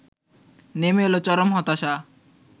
নেমে এল চরম হতাশা